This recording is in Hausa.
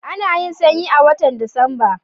Ana yin sanyi a watan Disamba.